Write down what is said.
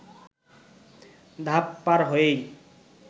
ধাপ পার হয়েই